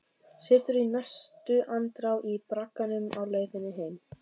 Situr í næstu andrá í bragganum á leiðinni heim.